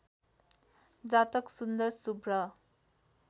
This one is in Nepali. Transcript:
जातक सुन्दर शुभ्र